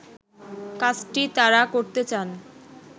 কাজটি তারা করতে চান